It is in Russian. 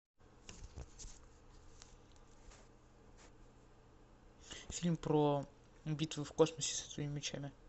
фильм про битвы в космосе со световыми мечами